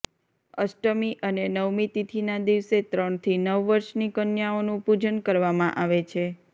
અષ્ટમી અને નવમી તિથિના દિવસે ત્રણથી નવ વર્ષની કન્યાઓનુ પૂજન કરવામાં આવે છે